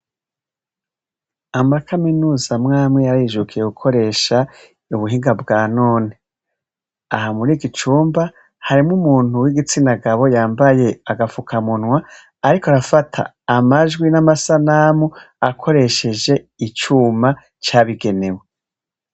Amakaminuza mwame yarayijukiye gukoresha ubuhinga bwa none ahamura igicumba harimwo umuntu wo igitsina gabo yambaye agapfuka munwa, ariko arafata amajwi n'amasanamu akoresheje icuma cabigenewe.